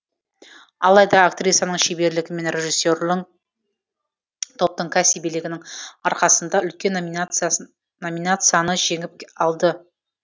алайда актрисаның шеберлігі мен режиссерінің топтың кәсібилігінің арқасында үлкен номинацияны жеңіп алды